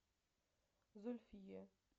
зульфие